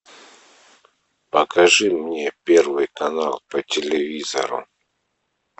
покажи мне первый канал по телевизору